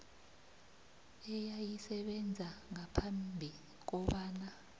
eyayisebenza ngaphambi kobana